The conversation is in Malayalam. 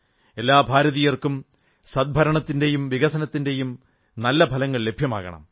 എല്ലാ ഭാരതീയർക്കും സദ്ഭരണത്തിന്റെയും വികസനത്തിന്റെയും നല്ല ഫലങ്ങൾ ലഭ്യമാകണം